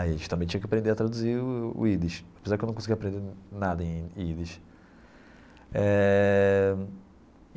Aí a gente também tinha que aprender a traduzir o Yiddish, apesar que eu não conseguia aprender nada em em Yiddish eh.